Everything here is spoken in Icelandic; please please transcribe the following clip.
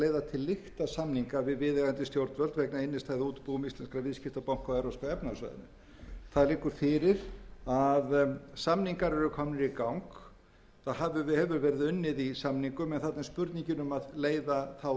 til lykta samninga við viðeigandi stjórnvöld vegna innstæðna í útibúum íslenskra viðskiptabanka á evrópska efnahagssvæðinu það liggur fyrir að samningar eru komnir í gang það hefur verið unnið í samningum en þarna er spurningin um að leiða þá til lykta þá